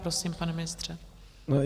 Prosím, pane ministře.